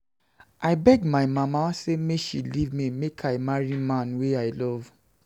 I beg my mama sey make she leave me make I marry man wey I love.